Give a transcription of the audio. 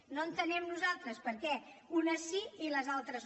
no entenem nosaltres per què unes sí i les altres no